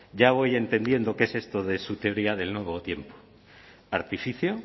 ya voy entendiendo qué es esto de su teoría del nuevo tiempo artificio